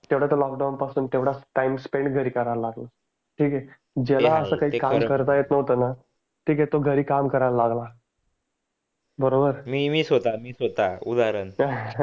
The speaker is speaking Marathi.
लॉकपासून टाइम स्पेंड नाहीकरायचा न लकडाऊन पासून तेवडा टाइम स्पेण्ड्स घरी करायला लागला ठीक आहे ज्याला आस काही काम करता येत नव्हतं न ठिक आहे तो घरी काम करायला लागला बरोबर मी मी स्वतच उदाहरण